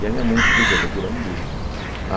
E a minha mãe me explicou que aquilo é um blues.